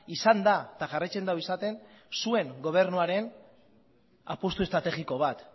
izan da eta jarraitzen du izaten zuen gobernuaren apustu estrategiko bat